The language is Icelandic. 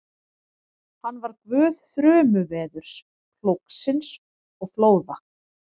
Hann var guð þrumuveðurs, plógsins og flóða.